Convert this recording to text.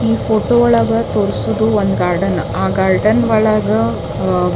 ಈ ಫೋಟೊ ಒಳಗ ತೋರಿಸುವುದು ಒಂದ್ ಗಾರ್ಡನ ಆ ಗಾರ್ಡನ್ ಒಳಗ ಅಹ್ಹ--